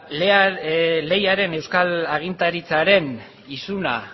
leiaren euskal agintaritzaren isuna